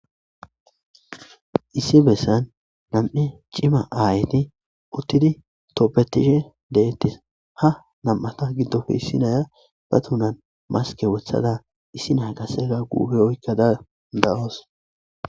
issi bessan nam'e cima aayeti uttidi toppetishe deettis ha nam7ata giddofe issinaya ba tunan maske wothada issina qaseka guufe oykkada de'wusos